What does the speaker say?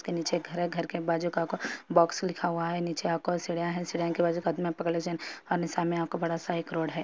नीचे घर घर के बाजो है बॉक्स लिखा हुआ हे नीचे आपको बड़ा साइज रोड है |